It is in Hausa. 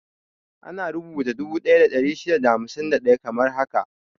Ana rubuta dubu daya da ɗari shida da hamsin da ɗaya kamar haka 1,651.